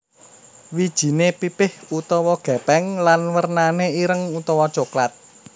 Wijiné pipih utawa gépeng lan wernané ireng utawa coklat